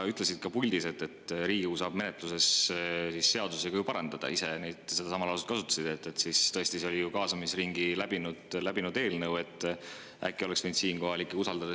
Sa ütlesid ka puldis, et Riigikogu saab menetluses seadus parandada – ise sa sedasama lauset kasutasid –, nii et tõesti, see oli ju kaasamisringi läbinud eelnõu, äkki oleks võinud selle ikka Riigikogule usaldada.